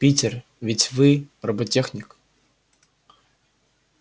питер ведь вы роботехник